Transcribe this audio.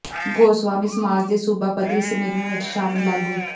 ਗੋਸਵਾਮੀ ਸਮਾਜ ਦੇ ਸੂਬਾ ਪੱਧਰੀ ਸੰਮੇਲਨ ਵਿੱਚ ਸ਼ਾਮਲ ਆਗੂ